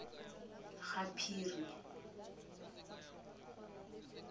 gaphiri